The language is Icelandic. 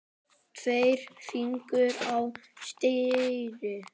Tveir fingur á stýri.